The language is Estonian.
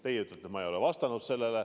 Teie ütlete, et ma ei ole sellele vastanud.